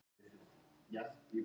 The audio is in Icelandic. Snorri Sturluson.